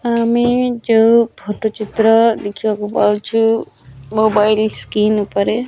ଆମି ଯଉ ଫଟୁ ଚିତ୍ର ଦେଖିବାକୁ ପାଉଚୁ ମୋବାଇଲ୍ ସ୍କ୍ରିନ ଉପରେ।